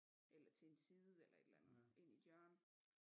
Eller til en side eller et eller andet ind i et hjørne